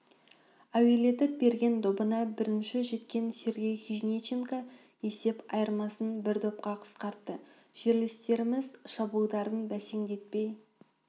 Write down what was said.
әуелетіп берген добына бірінші жеткен сергей хижниченко есеп айырмасын бір допқа қысқартты жерлестеріміз шабуылдарын бәсеңдетпей